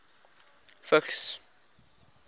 vigs